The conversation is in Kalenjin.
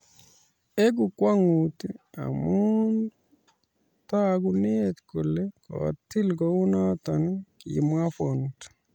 "Egu kwong'ut amu tokunet kole kotil kounot ",kimwa Font.